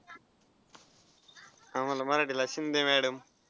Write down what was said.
आम्हाला मराठीला शिंदे madam.